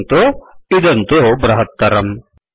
पश्यन्तु इदं तु बृहत्तरम्